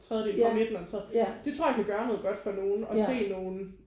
En tredjedel fra midten og en tredje det tror jeg kan gøre noget godt for nogen at se nogen